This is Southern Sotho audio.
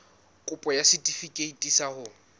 kopo ya setefikeiti sa ho